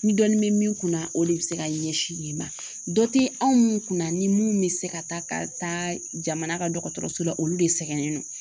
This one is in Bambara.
Ni dɔnni bɛ min kun na o de bɛ se ka ɲɛsin yen ma dɔ tɛ anw kunna ni mun bɛ se ka taa ka taa jamana ka dɔgɔtɔrɔso la olu de sɛgɛnnen don